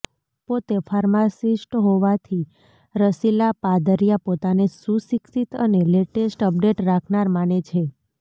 પોતે ફાર્માસિસ્ટ હોવાથી રસિલા પાદરિયા પોતાને સુશિક્ષિત અને લેટેસ્ટ અપડેટ રાખનાર માને છે